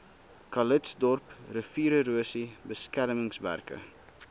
calitzdorp riviererosie beskermingswerke